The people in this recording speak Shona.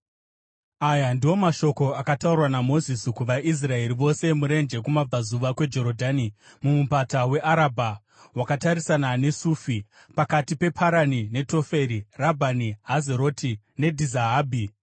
Aya ndiwo mashoko akataurwa naMozisi kuvaIsraeri vose murenje kumabvazuva kweJorodhani, mumupata weArabha wakatarisana neSufi, pakati peParani neToferi, Rabhani, Hazeroti neDhizahabhi.